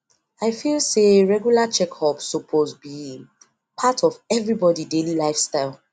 me and my partner yarn about doing sti test and e join us well well